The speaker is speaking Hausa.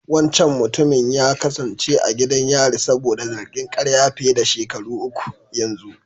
Wancan mutumin ya kasance a gidan yari saboda zargin ƙarya fiye da shekaru uku yanzu.